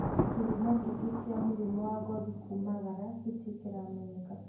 Kĩhumo kinyi gĩa mũrimũ wa ngothi kũmaraga gĩtirĩ kĩramenyekana